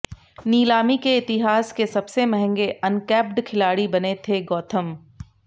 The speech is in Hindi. नीलामी के इतिहास के सबसे महंगे अनकैप्ड खिलाड़ी बने के गौथम